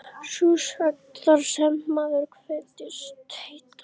Sú sögn, þar sem maður kveðst heita